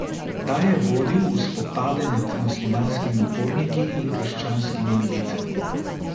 Ta je vodil v spopade med muslimanskimi uporniki in krščanskimi milicami.